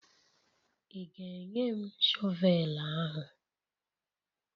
Ị ga-enye m shọvel ahụ?